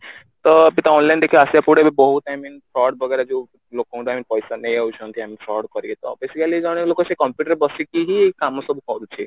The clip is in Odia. ତ ଟିକେ online ଦେଖିବା ଆସିବାକୁ ପଡିବ ବହୁତ I mean ford ବଗେରା ଯୋଉ ଲୋକଙ୍କ ପଇସା ନେଇଯାଉଛନ୍ତି ford କରିକି ତ basically ଜଣେ ଲୋକ ସେ computer ରେ ବସିକି ହିଁ ଏ କାମ ସବୁ କରୁଛି